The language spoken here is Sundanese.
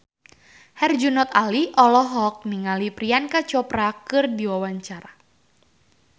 Herjunot Ali olohok ningali Priyanka Chopra keur diwawancara